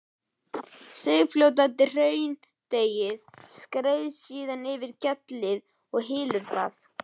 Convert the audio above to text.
Seigfljótandi hraundeigið skreiðist síðan yfir gjallið og hylur það.